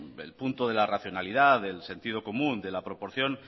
el punto de la racionalidad del sentido común de la proporción